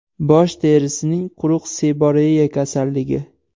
Bosh terisining quruq seboreya kasalligi.